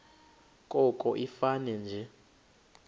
koko ifane nje